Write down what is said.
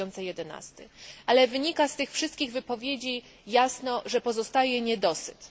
2011. Ale wynika z tych wszystkich wypowiedzi jasno, że pozostaje niedosyt.